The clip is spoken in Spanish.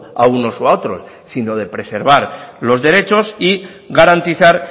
a unos o a otros sino de preservar los derechos y garantizar